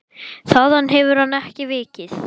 Þaðan hefur hann ekki vikið.